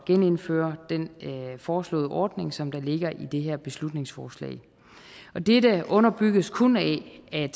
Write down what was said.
genindføre den foreslåede ordning som der ligger i det her beslutningsforslag og dette underbygges kun af at